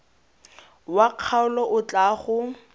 wa kgaolo o tla go